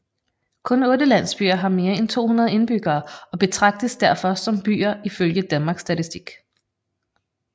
Kun 8 landsbyer har mere end 200 indbyggere og betragtes derfor som byer ifølge Danmarks Statistik